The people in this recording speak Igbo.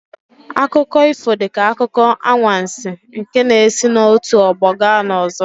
Akụkọ ifo dị ka akụkọ anwansi nke na-esi n'otu ọgbọ gaa n'ọzọ.